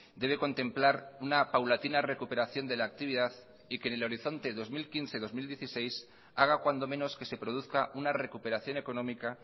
debe contemplar una paulatina recuperación de la actividad y que en el horizonte dos mil quince dos mil dieciséis haga cuando menos que se produzca una recuperación económica